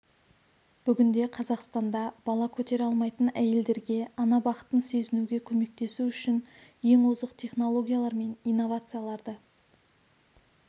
бүгінде қазақстанда бала көтере алмайтын әйелдерге ана бақытын сезінуге көмектесу үшін ең озық технологиялар мен инновацияларды